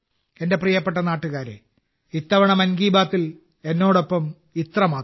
എന്റെ പ്രിയപ്പെട്ട നാട്ടുകാരേ ഇത്തവണ മൻ കി ബാത്തിൽ എന്നോടൊപ്പം ഇത്രമാത്രം